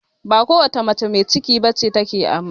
Ba kowace mace mai ciki bace ta ke amai